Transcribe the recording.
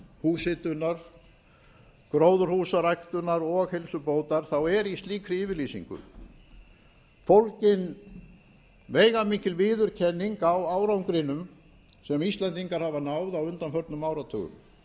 húshitunar gróðurhúsaræktunar og heilsubótar er í slíkri yfirlýsingu fólgin veigamikil viðurkenning á árangrinum sem íslendingar hafa náð á undanförnum áratugum